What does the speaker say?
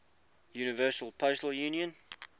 universal postal union